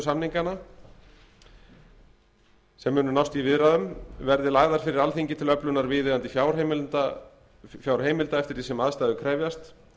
samninganna sem munu nást í viðræðunum verði lagðar fyrir alþingi til öflunar viðeigandi fjárheimilda eftir því sem aðstæður krefjast